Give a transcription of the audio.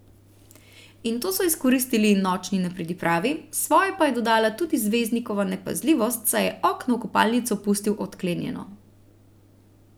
In to so izkoristili nočni nepridipravi, svoje pa je dodala tudi zvezdnikova nepazljivost, saj je okno v kopalnico pustil odklenjeno.